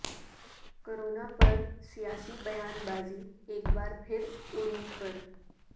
corona پر سیاسی بیان بازی ایک بار پھر عروج پر